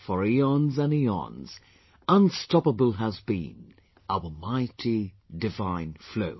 For eons and eons, unstoppable has been our mighty divine flow